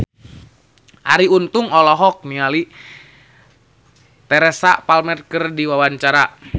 Arie Untung olohok ningali Teresa Palmer keur diwawancara